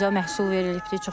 Çox gözəl məhsul verilibdir.